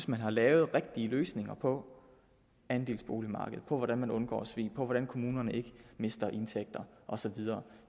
man har lavet rigtige løsninger på andelsboligmarkedet for hvordan man undgår svig for hvordan kommunerne ikke mister indtægter og så videre